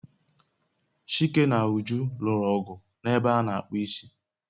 Chike na Uju lụrụ ọgụ n'ebe a n'akpụ isi